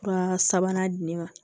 Fura sabanan di ne ma